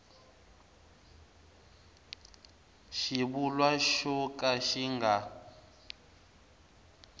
xivulwa xo ka xi nga